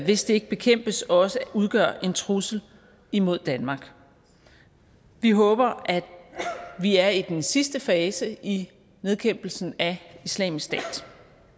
hvis det ikke bekæmpes også udgør en trussel imod danmark vi håber at vi er i den sidste fase i nedkæmpelsen af islamisk stat